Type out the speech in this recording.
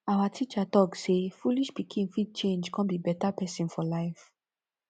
our teacher talk say foolish pikin fit change come be better pesin for life